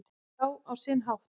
Já, á sinn hátt